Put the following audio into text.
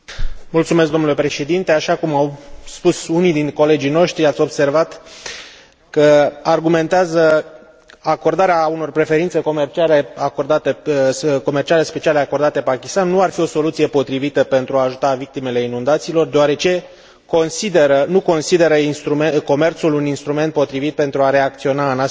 Așa cum au spus unii din colegii noștri, ați observat că argumentează că acordarea unor preferințe comerciale speciale acordate Pakistanului nu ar fi o soluție potrivită pentru a ajuta victimele inundațiilor, deoarece nu consideră comerțul un instrument potrivit pentru a reacționa în astfel de situații de urgență.